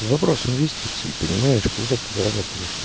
вопрос инвестиции понимаешь когда ты зарабатываешь там